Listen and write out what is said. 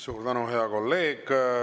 Suur tänu, hea kolleeg!